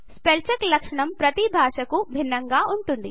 spell check లక్షణం ప్రతి భాషాకు భిన్నముగా ఉంటుంది